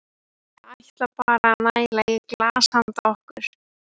Ég ætla bara að næla í glas handa okkur.